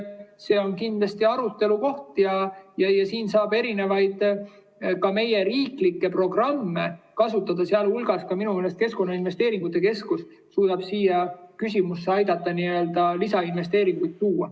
See on kindlasti arutelu koht ja siin saab erinevaid, ka meie riiklikke programme kasutada, sealhulgas suudab minu meelest Keskkonnainvesteeringute Keskus aidata ja lisainvesteeringuid tuua.